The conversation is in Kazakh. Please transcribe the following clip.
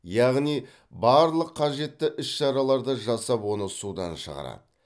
яғни барлық қажетті іс шараларды жасап оны судан шығарады